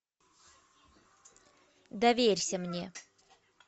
доверься мне